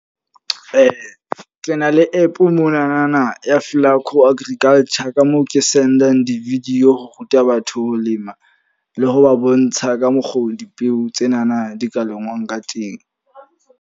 Ke na le app mo na na ya agriculture. Ka moo ke send-ang di-video ho ruta batho ho lema le ho ba bontsha ka mokgo dipeo tse na na di ka lengwang ka teng.